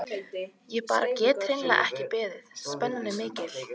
Ég bara get hreinlega ekki beðið, spennan er mikil.